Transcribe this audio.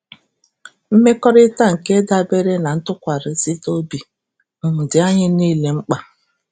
Mmekọrịta nke dabeere na ntụkwasịrịta obi um dị anyị niile mkpa